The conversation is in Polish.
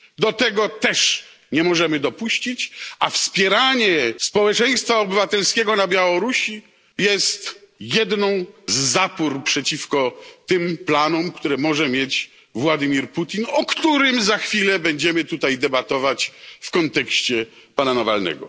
Do tego też nie możemy dopuścić, a wspieranie społeczeństwa obywatelskiego na Białorusi jest jedną z zapór przeciwko tym planom, które może mieć Władimir Putin, o którym za chwilę będziemy tutaj debatować w kontekście pana Nawalnego.